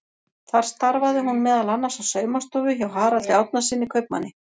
Þar starfaði hún meðal annars á saumastofu hjá Haraldi Árnasyni kaupmanni.